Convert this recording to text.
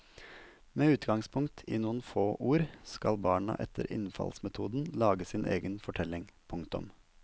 Med utgangspunkt i noen få ord skal barna etter innfallsmetoden lage sin egen fortelling. punktum